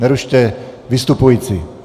Nerušte vystupující!